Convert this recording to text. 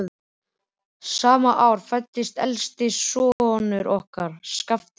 Sama ár fæddist elsti sonur okkar, Skafti Svavar.